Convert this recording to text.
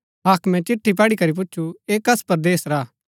हाक्मे चिट्ठी पढ़ी करी पुछु ऐह कस परदेस रा हा